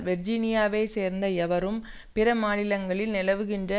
வெர்ஜினியாவை சேர்ந்த எவரும் பிற மாநிலங்களில் நிலவுகின்ற